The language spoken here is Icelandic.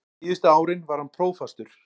Síðustu árin var hann prófastur.